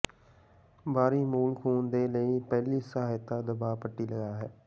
ਬਾਹਰੀ ਮੂਲ ਖ਼ੂਨ ਦੇ ਲਈ ਪਹਿਲੀ ਸਹਾਇਤਾ ਦਬਾਅ ਪੱਟੀ ਲਗਾ ਹੈ